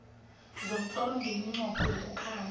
somtlolo ngeminqopho yokukhamba